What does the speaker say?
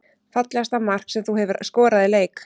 Fallegasta mark sem þú hefur skorað í leik?